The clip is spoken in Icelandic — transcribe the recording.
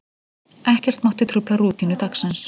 Ekkert mátti trufla rútínu dagsins.